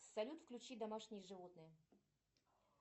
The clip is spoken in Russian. салют включи домашние животные